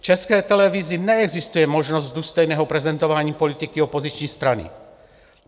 V České televizi neexistuje možnost důstojného prezentování politiky opoziční strany.